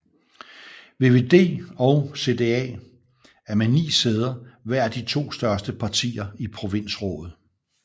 VVD og CDA er med 9 sæder hver de to største partier i provinsrådet